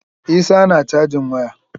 Isah na cajin waya.